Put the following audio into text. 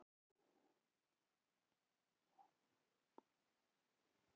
Ég myndi ekki taka hann.